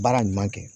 Baara ɲuman kɛ